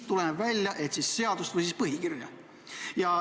Mõeldud on siis seadust või põhikirja.